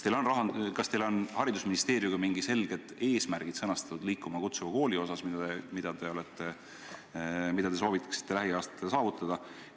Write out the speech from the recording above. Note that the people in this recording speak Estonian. Kas teil on haridusministeeriumiga sõnastatud "Liikuma kutsuva kooli" osas mingid selged eesmärgid, mida te soovitate lähiaastatel saavutada?